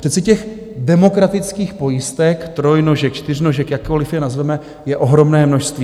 Přece těch demokratických pojistek, trojnožek, čtyřnožek, jakkoliv je nazveme, je ohromné množství.